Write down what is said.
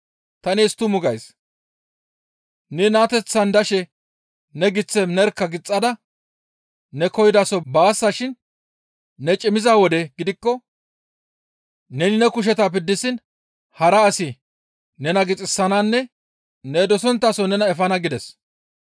Ta nees tumu gays; ne naateththan dashe ne giththe nerkka gixxada ne koyidaso baasashin ne cimmiza wode gidikko neni ne kusheta piddisiin hara asi nena gixisananne ne dosonttaso nena efana» gides.